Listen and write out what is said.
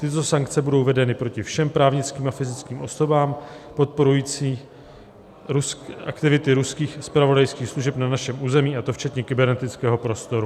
Tyto sankce budou vedeny proti všem právnickým a fyzickým osobám podporujícím aktivity ruských zpravodajských služeb na našem území, a to včetně kybernetického prostoru."